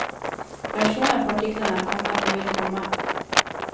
Reaksjoner på artiklene er kommet og vil komme.